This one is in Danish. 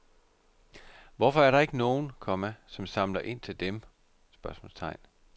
Hvorfor er der ikke nogen, komma som samler ind til dem? spørgsmålstegn